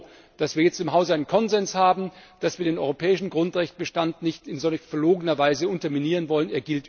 Ich bin froh, dass wir jetzt im Hause einen Konsens haben, dass wir den europäischen Grundrechtbestand nicht in solch verlogener Weise unterminieren wollen.